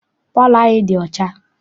Palọ anyị dị ọcha.